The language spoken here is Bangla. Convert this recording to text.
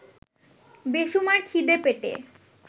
বেসুমার খিদে পেটে